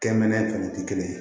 Kɛmɛnɛ fana tɛ kelen ye